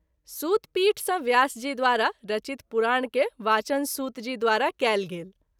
सूत पीठ सँ व्यास जी द्वारा रचित पुराण के वाचन सूत जी द्वारा कएल गेल।